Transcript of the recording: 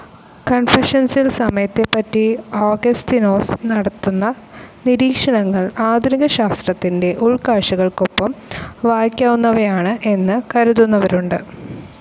കൺഫഷൻസിൽ സമയത്തെപ്പറ്റി ഓഗസ്തിനോസ് നടത്തുന്ന നിരീക്ഷണങ്ങൾ ആധുനിക ശാസ്ത്രത്തിൻ്റെ ഉൾക്കാഴ്ചകൾക്കൊപ്പം വയ്ക്കാവുന്നവയാണ് എന്ന് കരുതുന്നവരുണ്ട്.